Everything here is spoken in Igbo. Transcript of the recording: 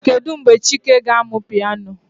Kedu mgbe chike ga-amụ piano?